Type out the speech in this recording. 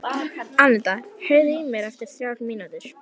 Annetta, heyrðu í mér eftir þrjár mínútur.